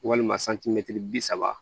Walima santimɛtiri bi saba